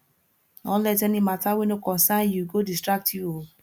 no let any mata wey no concern yu go distract yu o